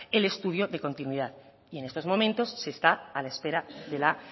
el estudio de continuidad y en estos momentos se está a la espera de la